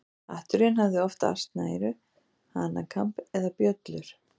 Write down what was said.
Hatturinn hafði oft asnaeyru, hanakamb eða bjöllur.